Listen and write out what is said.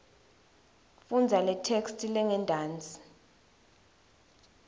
fundza letheksthi lengentasi